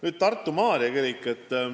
Nüüd, Tartu Maarja kirik.